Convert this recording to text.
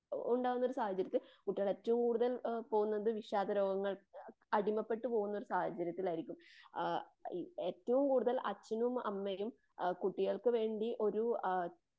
ഉണ്ടാകുന്ന ഒരു സാഹചര്യത്തിൽ.ഏറ്റവും കൂടുതൽ പോകുന്നത് വിഷാദരോഗങ്ങ അടിമപ്പെട്ടു പോകുന്നൊരു സാഹചര്യത്തിലായിരിക്കും. ആ ഏറ്റവും കൂടുതൽ അച്ഛനും അമ്മയും കുട്ടികൾക്ക് വേണ്ടി ഒരു ആ